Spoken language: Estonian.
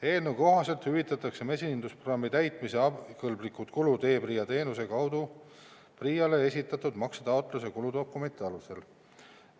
Eelnõu kohaselt hüvitatakse mesindusprogrammi täitmise abikõlblikud kulud e-PRIA teenuse kaudu PRIA-le esitatud maksetaotluse ja kuludokumentide alusel.